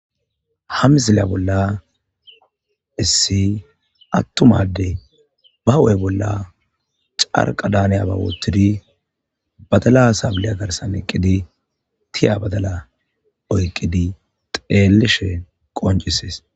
hamizilya bolla issi attumadde ba u7ey bolla carqa daaniya ba woottidi badala saabiliya garsan eqqidi tiya badala oyqqidi xeelishe qoncisees